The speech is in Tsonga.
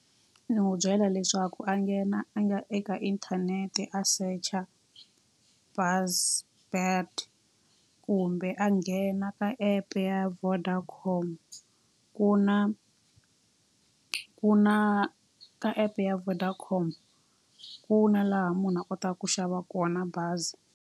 Ndzi n'wi byela leswaku a nghena a nga eka inthanete a search-a . Kumbe a nghena ka app-e ya vona Vodacom, ku na ku na ka app-e ya Vodacom ku na laha munhu a kotaka ku xava kona bazi.